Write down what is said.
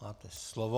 Máte slovo.